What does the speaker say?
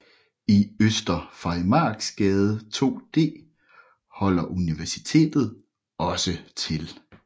I Øster Farimagsgade 2D holder Universitetet også til